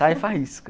Sai faísca.